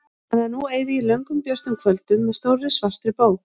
Þannig að nú eyði ég löngum björtum kvöldum með stórri svartri bók.